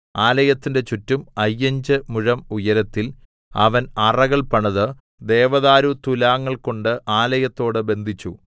ആലയത്തിന്റെ ചുറ്റും അയ്യഞ്ചു മുഴം ഉയരത്തിൽ അവൻ അറകൾ പണിത് ദേവദാരുത്തുലാങ്ങൾകൊണ്ട് ആലയത്തോട് ബന്ധിച്ചു